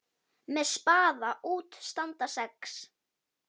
Með spaða út standa sex.